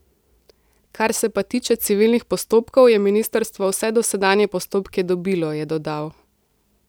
Kar se pa tiče civilnih postopkov, je ministrstvo vse dosedanje postopke dobilo, je dodal.